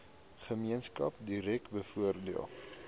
gemeenskap direk bevoordeel